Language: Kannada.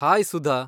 ಹಾಯ್ ಸುಧಾ!